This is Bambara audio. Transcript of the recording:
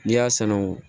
N'i y'a sanu